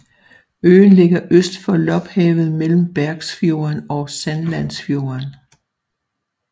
Øen ligger øst for Lopphavet mellem Bergsfjorden og Sandlandsfjorden